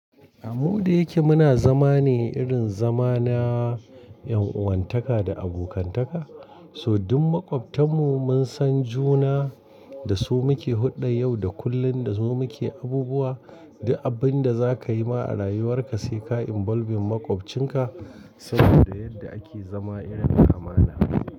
Mu da yake muna zama ne irin zama na 'yan uwantaka da abokantaka. Toh duk maƙwabtan mu mun san juna da su muke huɗɗan yau da kullum da su muke abubuwa. Duk abin da za ka yi ma a rayuwar ka sai ka involving maƙwabcin ka saboda yadda ake zama irin na amana.